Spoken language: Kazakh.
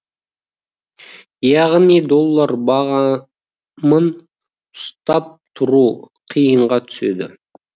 яғни доллар бағамын ұстап тұру қиынға түседі